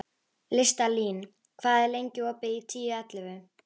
Listalín, hvað er lengi opið í Tíu ellefu?